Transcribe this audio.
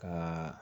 Ka